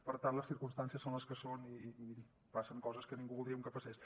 per tant les circumstàncies són les que són i passen coses que ningú voldríem que passés